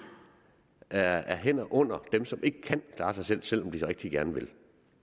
er er hænder under dem som ikke kan klare sig selv selv om de rigtig gerne vil